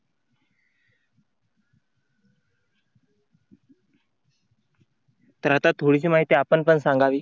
तर आता थोडीशी माहिती आपण पण सांगावी.